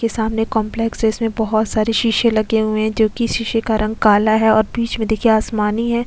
के सामने कंपलेक्स है इस में बहोत सारी शीशे लगे हुए है जो कि शीशे का रंग काला है और बीच में देखिए आसमानी है।